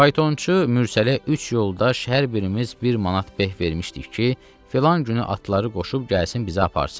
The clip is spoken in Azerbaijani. Faytonçu Mürsəliyə üç yoldaş hər birimiz bir manat beh vermişdik ki, filan günü atları qoşub gəlsin bizi aparsın.